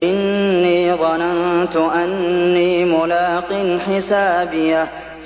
إِنِّي ظَنَنتُ أَنِّي مُلَاقٍ حِسَابِيَهْ